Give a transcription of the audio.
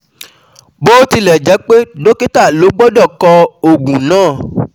Bó tilẹ̀ jẹ́ pé dọ́kítà ló gbọ́dọ̀ kọ òògùn náà